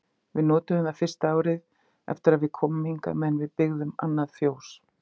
Við notuðum það fyrsta árið eftir að við komum hingað meðan við byggðum annað fjós.